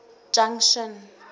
junction